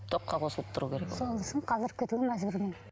тоққа қосылып тұру керек ол сол үшін қалдырып кетуге мәжбүрмін